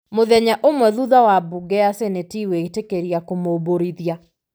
mũthenya ũmwe thutha wa mbunge ya Seneti gwĩtĩkĩria kũmũmbũrithia.